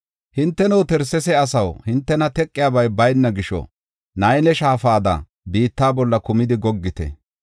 Hinteno, Tarsesa asaw, hintena teqiyabay bayna gisho, Nayle shaafada biitta bolla kumidi goggite.